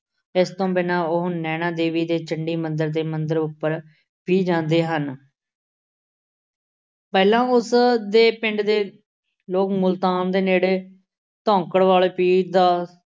ਇਸ ਤੋਂ ਬਿਨਾਂ ਉਹ ਨੈਣਾ ਦੇਵੀ ਤੇ ਚੰਡੀ ਮੰਦਿਰ ਦੇ ਮੰਦਿਰ ਉੱਪਰ ਵੀ ਜਾਂਦੇ ਹਨ। ਪਹਿਲਾਂ ਉਸ ਦੇ ਪਿੰਡ ਦੇ ਲੋਕ ਮੁਲਤਾਨ ਦੇ ਨੇੜੇ ਧੌਂਕੜਵਾਲੇ ਪੀਰ ਦਾ